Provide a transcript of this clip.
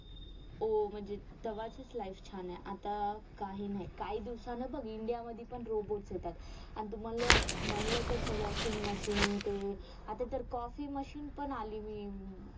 म्हणजे तव्हाची life छान आहे आता काही नाही काही दिवसाने ना बग india मधी पण robots येतात आणि तू मानलं मानलं तस washing machine ते coffee machine पण आली अं